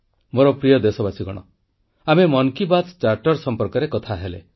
ମୋର ପ୍ରିୟ ଦେଶବାସୀ ଆମେ ମନ୍ କି ବାତ୍ ଚାର୍ଟର ସମ୍ପର୍କରେ କଥା ହେଲେ